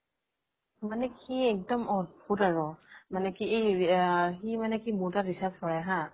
মানে কি একডম অদ্ভুত আৰু মানে কি সি মোৰ তাত recharge ভৰাই হা